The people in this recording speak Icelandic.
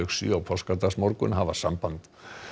sjö á páskadagsmorgun að hafa samband